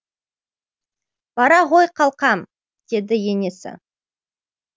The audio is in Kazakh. бара ғой қалқам деді енесі